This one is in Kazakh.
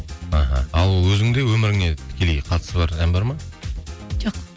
іхі ал өзіңде өміріңе тікелей қатысы бар ән бар ма жоқ